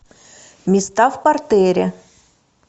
места в партере